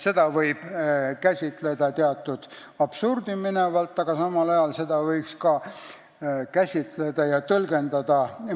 Seda võib käsitleda absurdini minevalt, samal ajal võib seda ka mõistlikult käsitleda ja tõlgendada.